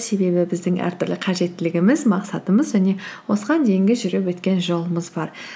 себебі біздің әртүрлі қажеттілігіміз мақсатымыз және осыған дейінгі жүріп өткен жолымыз бар